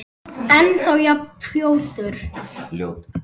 Ennþá jafn ljótur.